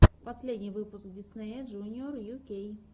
последний выпуск диснея джуниор ю кей